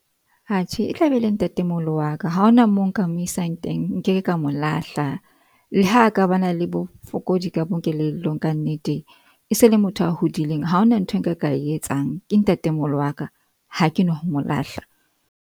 Atjhe e tlabe e le ntate moholo wa ka. Ha hona mo nka mo isang teng, nkeke ka mo lahla le ha ka ba na le bofokodi ka bo kelellong, ka nnete e se e le motho a hodileng, ha hona nthwe nka ka etsang. Ke ntate moholo wa ka. Ha ke no ho mo lahla.